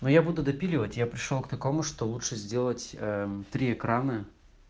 ну я буду допиливать я пришёл к такому что лучше сделать три экрана